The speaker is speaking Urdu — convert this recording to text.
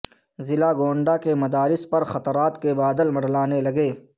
ضلع گونڈہ کے مدارس پر خطرات کے بادل منڈلانے لگے